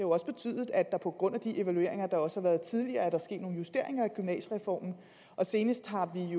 også betydet at der på grund af de evalueringer der også har været tidligere er sket nogle justeringer af gymnasiereformen og senest har vi